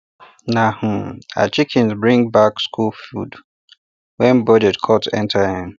na um her chickens bring back school food when budget cut enter um